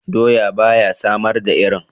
Doya ba ya samar da iri.